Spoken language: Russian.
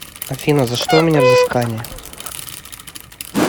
афина за что у меня взыскания